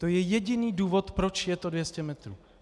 To je jediný důvod, proč je to 200 metrů.